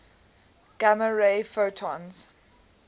gamma ray photons